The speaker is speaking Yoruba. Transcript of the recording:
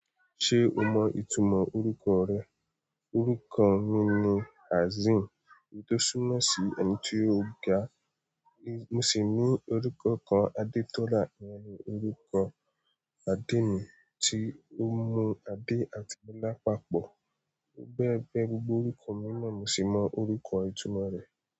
Ṣé o mọ ìtumọ̀ orúkọ rẹ? Orúkọ mi ni Hazim, tó súnmọ́ sí ẹni tí ó ga. Mo sì ní orúkọ kan Adetola, ni orúkọ adé mi tí ó mú Adé àti ọlá papọ̀. Bẹ́ẹ̀ bẹ́ẹ̀, gbogbo orúkọ mi náà mo sì mọ orúkọ ìtumọ̀ rẹ̀